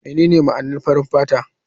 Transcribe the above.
Menene ma'anar farar fata?